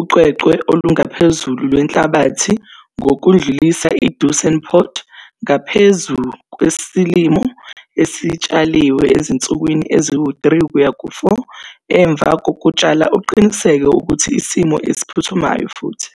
uqweqwe olungaphezulu lwenhlabathi ngokudlulisa 'i-duisendpoot' ngaphezu kwesilimo esitshaliwe ezinsukwini ezi-3-4 emva kokutshala uqinisekise ukuthi isimo esiphuthumayo futhi,